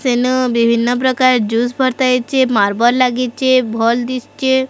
ବିଭିନ୍ନ ପ୍ରକାର ଜୁସ୍ ହେଇଚି ମାର୍ବଲ ଲାଗିଚେ ଭଲ୍ ଦିଶଚେ।